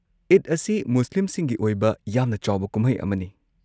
ꯏꯗ ꯑꯁꯤ ꯃꯨꯁꯂꯤꯝꯁꯤꯡꯒꯤ ꯑꯣꯏꯕ ꯌꯥꯝꯅ ꯆꯥꯎꯕ ꯀꯨꯝꯍꯩ ꯑꯃꯅꯤ꯫